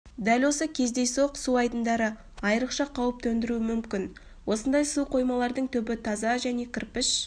дәл осы кездейсоқ су айдындары айрықша қауіп төндіруі мүмкін осындай су қоймалардың түбі таза және кірпіш